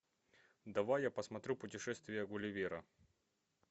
давай я посмотрю путешествие гулливера